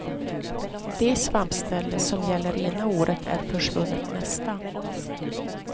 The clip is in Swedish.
Det svampställe som gäller ena året är försvunnet nästa.